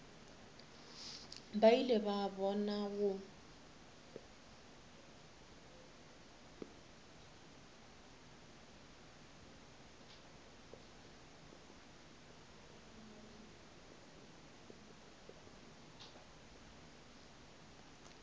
ba ile ba bona go